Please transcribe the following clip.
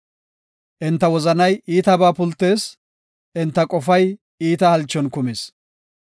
Enta wozanay iitabaa pultees; enta qofay iita halchon kumis.